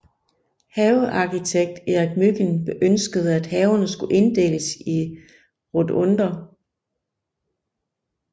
Havearkitekt Erik Mygind ønskede at haverne skulle inddeles i rotunder